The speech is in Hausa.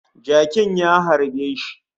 Jakin ya harbe shi